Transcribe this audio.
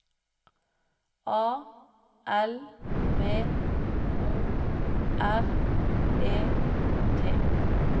A L V O R E T